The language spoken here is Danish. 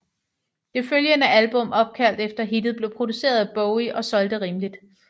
Det følgende album opkaldt efter hittet blev produceret af Bowie og solgte rimeligt